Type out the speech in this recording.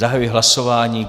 Zahajuji hlasování.